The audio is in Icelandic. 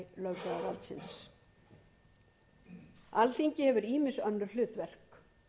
sem aðalhandhafi löggjafarvaldsins alþingi hefur ýmis önnur hlutverk